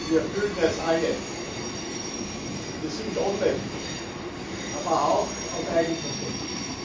Wir fühlen es alle Wir sind ohnmächtig, aber auch aus Eigenverschulden.